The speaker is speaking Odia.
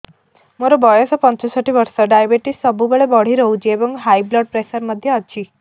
ମୋର ବୟସ ପଞ୍ଚଷଠି ବର୍ଷ ଡାଏବେଟିସ ସବୁବେଳେ ବଢି ରହୁଛି ଏବଂ ହାଇ ବ୍ଲଡ଼ ପ୍ରେସର ମଧ୍ୟ ଅଛି